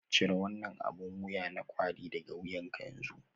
Cire wannan abin wuya na kawry daga wuyanka yanzu